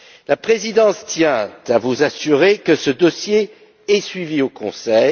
La Présidence tient à vous assurer que ce dossier est suivi au Conseil.